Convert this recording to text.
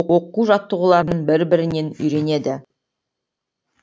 оқу жаттығуларын бір бірінен үйренеді